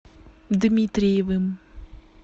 дмитриевым